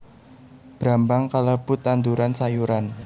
Brambang kalebu tanduran sayuran